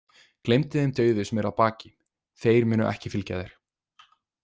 Gleymdu þeim dauðu sem eru að baki, þeir munu ekki fylgja þér.